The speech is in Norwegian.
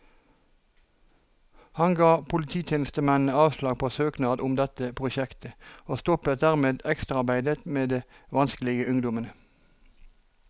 Han ga polititjenestemennene avslag på søknad om dette prosjektet, og stoppet dermed ekstraarbeidet med de vanskelige ungdommene.